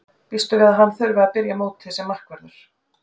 Býstu við að hann þurfi að byrja mótið sem varamarkvörður?